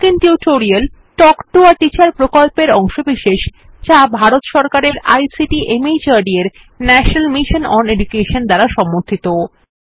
spoken tutorial talk to a teacher প্রকল্পের অংশবিশেষ যা ভারত সরকারের আইসিটি মাহর্দ এর ন্যাশনাল মিশন ওন এডুকেশন দ্বারা সমর্থিত